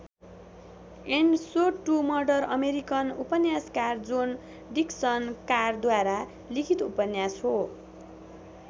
And so to murder American उपन्यासकार John Dickson कारद्वारा लिखित उपन्यास हो।